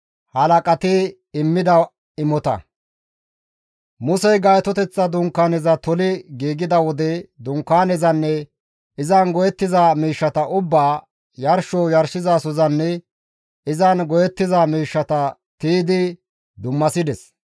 Musey Gaytoteththa Dunkaaneza toli giigida wode Dunkaanezanne izan go7ettiza miishshata ubbaa, yarsho yarshizasozanne izan go7ettiza miishshata tiydi dummasides.